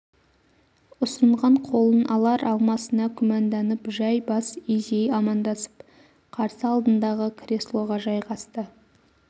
ұсынған қолын алар-алмасына күмәнданып жәй бас изей амандасып қарсы алдындағы креслоға жайғасты